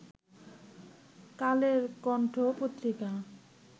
কালের কন্ঠ পত্রিকা